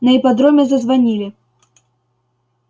на ипподроме зазвонили